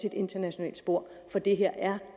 et internationalt spor for det her er